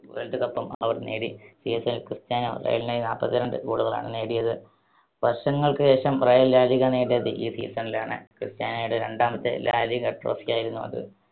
World കപ്പും അവർ നേടി. season ൽ ക്രിസ്റ്റ്യാനോ റയലിനായി നാല്പത്തിരണ്ട്‌ goal കളാണ് നേടിയത്. വർഷങ്ങൾക്ക് ശേഷം റയൽ ലാ ലിഗ നേടിയത് ഈ season ലാണ്. ക്രിസ്റ്റ്യാനോയുടെ രണ്ടാമത്തെ ലാ ലിഗ trophy ആയിരുന്നു അത്.